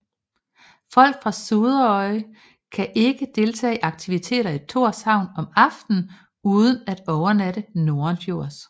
Folk fra Suðuroy kan ikke deltage i aktiviteter i Tórshavn om aftenen uden at overnatte nordenfjords